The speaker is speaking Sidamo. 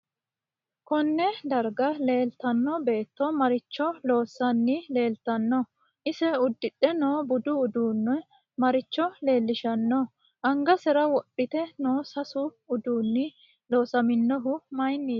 KOnne darga leeltano beeto maricho loosani leeltanno ise udidhe noo budu uddano maricho leelishanno angasera wodhite noo seesu uduuni loosaminohu mayiiniti